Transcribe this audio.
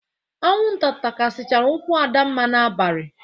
Aṅụnta takasịchara ụkwụ Adamma n'abalị.